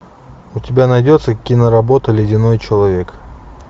у тебя найдется киноработа ледяной человек